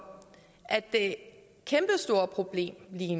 at det kæmpestore problem vi